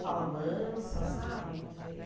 Fala mansa, sabe?